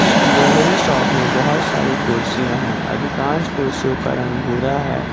Jewellery shop में बहुत सारी कुर्सियां हैं अधिकांश कुर्सियों का रंग भूरा है।